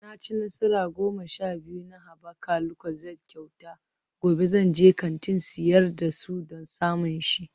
Na ci nasara goma sha biyu na haɓaka lucozade kyauta, gobe zan je kantin sayar da su don samun shi